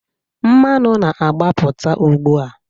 Mmanụ na-agbapụta ugbu a.